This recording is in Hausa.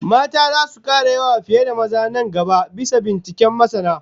Mata zasu kara yawa fiye da maza nan gaba, bisa binciken masana